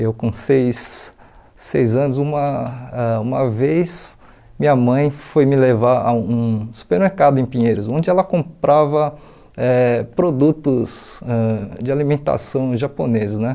Eu com seis seis anos, uma ãh um vez minha mãe foi me levar a um supermercado em Pinheiros, onde ela comprava eh produtos ãh de alimentação japoneses né.